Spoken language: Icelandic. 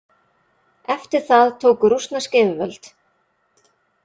Eftir það tóku rússnesk yfirvöld.